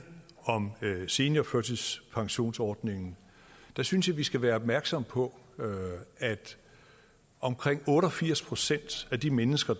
om seniorførtidspensionsordningen synes jeg vi skal være opmærksomme på at omkring otte og firs procent af de mennesker